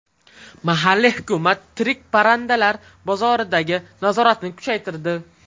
Mahalliy hukumat tirik parrandalar bozoridagi nazoratni kuchaytirdi.